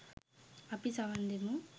අපි සවන් දෙමු